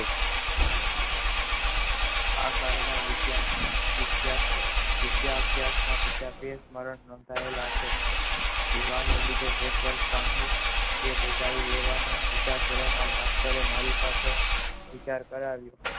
આ કારણે ના વિધાર્થીયો વિદ્યા આ થયા થા બીજા અભ્યાસ ના સ્મરણ થયેલા છે ના લીધે તે બધા આવી લેવ અનો વિચાર ધોરણ માં કરે મારી પાસે વિચાર કરાવ્યો